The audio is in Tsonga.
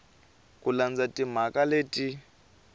hi ku landza timaraka leti